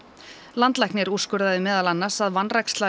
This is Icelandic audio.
landlæknir úrskurðaði meðal annars að vanræksla